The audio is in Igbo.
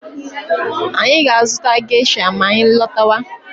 Anyị ga-azụta geisha ma anyị lọtawa.